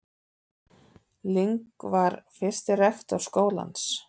Ling var fyrsti rektor skólans.